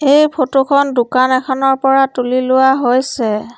এই ফটো খন দোকান এখনৰ পৰা তুলি লোৱা হৈছে।